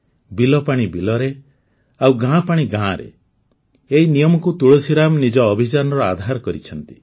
ବିଲ ପାଣି ବିଲରେ ଆଉ ଗାଁ ପାଣି ଗାଁରେ ଏହି ନିୟମକୁ ତୁଳସୀରାମ ନିଜ ଅଭିଯାନର ଆଧାର କରିଛନ୍ତି